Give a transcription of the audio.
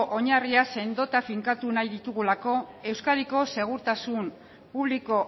oinarria sendotu eta finkatu nahi ditugulako euskadiko segurtasun publiko